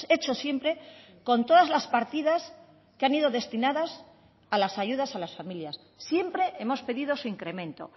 hecho siempre con todas las partidas que han ido destinadas a las ayudas a las familias siempre hemos pedido su incremento